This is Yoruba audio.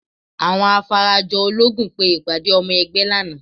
Àwọn Afarajológun pe ìpàdé ọmọ ẹgbẹ́ lánàá